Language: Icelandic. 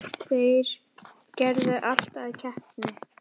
Þeir gerðu allt að keppni.